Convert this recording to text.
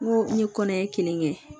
N ko n ye kɔnɔɲɛ kelen kɛ